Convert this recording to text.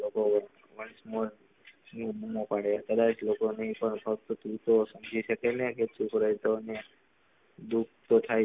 દુઃખ તો થાય લોકો વન્સ મોર બૂમો પાડે કદાય લોકો ને ફક્ત પૂછી શકે ને કે ચૂપ રહેશો ને